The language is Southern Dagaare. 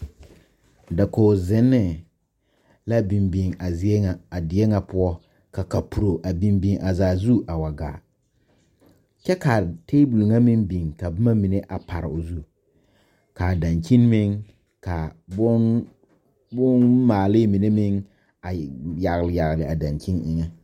Dakoge zenne la biŋ biŋ a zie ŋa a die ŋa poɔ ka kapuro a biŋ biŋ a zaa zu a wa gaa kyɛ kaa tabol ŋa maŋ biŋ ka bomma a pare o zu kaa dankyini meŋ kaa poɔ bonmaalee mine meŋ a e yagle yagle a dankyini eŋɛ.